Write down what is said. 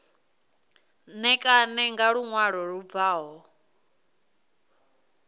ṋekane nga luṅwalo lu bvaho